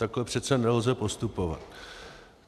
Takhle přece nelze postupovat.